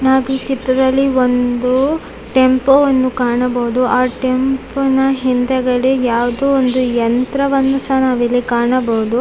ನಾವೀ ಚಿತ್ರದಲ್ಲಿ ಒಂದು ಟೆಂಪೋ ವನ್ನು ಕಾಣಬಹುದು ಆ ಟೆಂಪೋನ ಹಿಂದೆಗಡೆ ಯಾವ್ದೋ ಒಂದು ಯಂತ್ರವನ್ನು ಸಹ ನಾವು ಇಲ್ಲಿ ಕಾಣಬಹುದು.